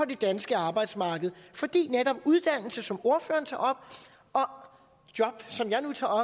det danske arbejdsmarked fordi netop uddannelse som ordfører tager op og job som jeg nu tager